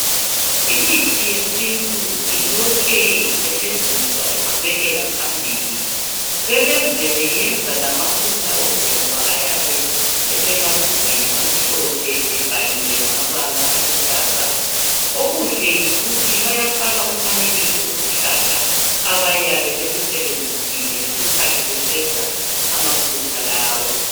Imithi yesintu ilokhe isetshenziswa iqhubekela phambili , sebeze besenza lamafutha okugcoba ayabe esematshubhini amhlophe ebhaliwe ngamabala aluhlaza , okuhle yikuthi bayafaka umfanekiso wesihlahla abayabe besisebenzisile ngesikhathi besenza amafutha lawa